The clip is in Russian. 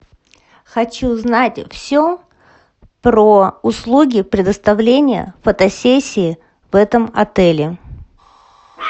хочу знать все про услуги предоставления фотосессии в этом отеле